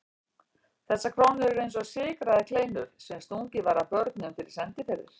Þessar krónur voru eins og sykraðar kleinur sem stungið var að börnum fyrir sendiferðir.